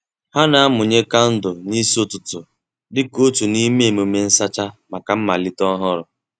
Ha na-amụnye kandụl n'isi ụtụtụ dịka otu n'ime emume nsacha maka mmalite ọhụrụ.